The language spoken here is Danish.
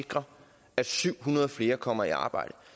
sikrer at syv hundrede flere kommer i arbejde